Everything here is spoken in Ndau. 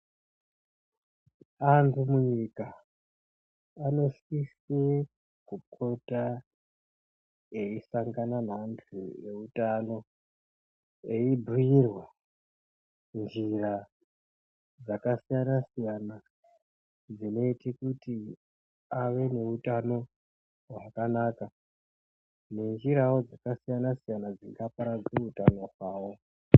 Antu munyika anosisa kupota eisangana neantu ehutano eibhuirwa njira dzakasiyana siyana dzinoita kuti ave nehutano hwakanaka nenjirawo dzakasiyana siyana dzingaparadza hutano hwavo.